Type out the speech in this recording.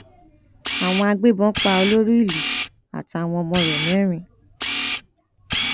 àwọn agbébọn pa olórí ìlú àtàwọn ọmọ rẹ mẹrin